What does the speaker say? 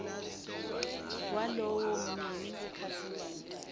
walowo mnini wekhasimende